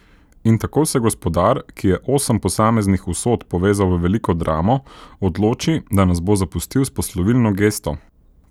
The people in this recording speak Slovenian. In tako se gospodar, ki je osem posameznih usod povezal v veliko dramo, odloči, da nas bo zapustil s poslovilno gesto.